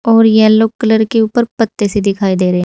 और yellow colour के ऊपर पत्ते से दिखाई दे रहे।